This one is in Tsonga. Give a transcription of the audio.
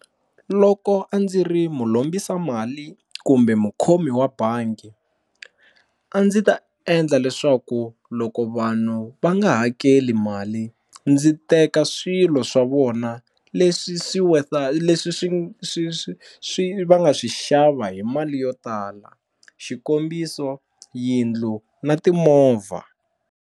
Loko a ndzi ri mu lombisa mali kumbe mukhomi wa bangi a ndzi ta endla leswaku loko vanhu va nga hakeli mali ndzi teka swilo swa vona leswi swi leswi swi swi swi swi va nga swi xava hi mali yo tala xikombiso yindlu na timovha.